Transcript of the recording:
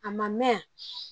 A ma mɛn